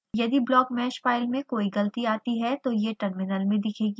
यदि blockmesh file में कोई गलती आती है तो यह टर्मिनल में दिखेगी